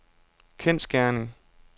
kendsgerning